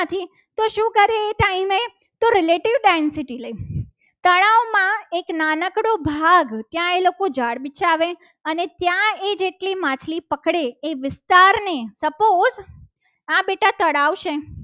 લઈ તળાવમાં એક નાનકડો ભાગ ત્યા એ લોકો ઝાડ બિછાવે અને ત્યાં એ જેટલી માછલી પકડે એ વિસ્તારને સપોસ આ બેતા તળાવ છે.